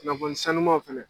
kunnafoni sanumanw fɛnɛ